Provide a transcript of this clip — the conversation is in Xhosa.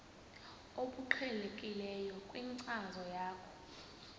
obuqhelekileyo kwinkcazo yakho